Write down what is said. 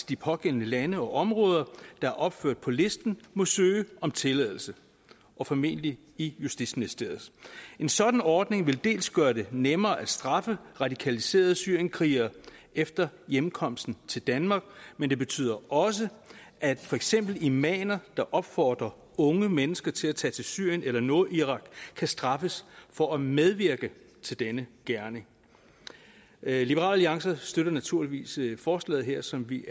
de pågældende lande og områder der er opført på listen må søge om tilladelse og formentlig i justitsministeriet en sådan ordning vil gøre det nemmere at straffe radikaliserede syrienskrigere efter hjemkomsten til danmark men det betyder også at for eksempel imamer der opfordrer unge mennesker til at tage til syrien eller nordirak kan straffes for at medvirke til denne gerning liberal alliance støtter naturligvis forslaget her som vi